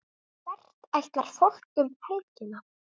Hvert ætlar fólk um helgina?